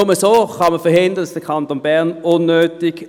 Nur so kann man verhindern, dass der Kanton Bern unnötig